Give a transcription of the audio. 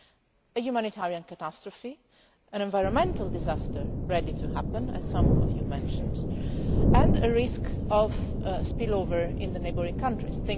Here we have a humanitarian catastrophe, an environmental disaster ready to happen, as some of you mentioned, and a risk of spill over into the neighbouring countries.